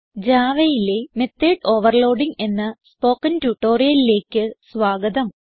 Javaയിലെ method overloading എന്ന spoken ട്യൂട്ടോറിയലിലേക്ക് സ്വാഗതം